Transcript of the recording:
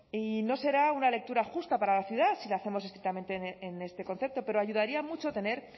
y no será una lectura justa para la ciudad si lo hacemos estrictamente en este concepto pero ayudaría mucho tener